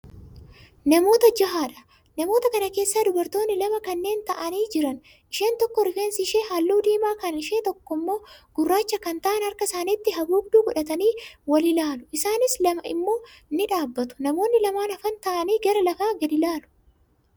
Namoota jahaadha. Namoota kana keessaa dubartoonni lama kanneen taa'anii jiran, isheen tokko rifeensi ishee halluu diimaa kan ishee tokkommoo gurraacha kan ta'an harka isaanitti haguugduu godhatanii wal ilaalu. Isaan lama immoo ni dhaabatu. Namoonni lamaan hafan taa'anii gara lafaa gadi ilaalu.